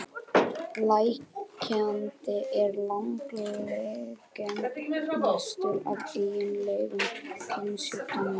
Lekandi er langalgengastur af eiginlegum kynsjúkdómum.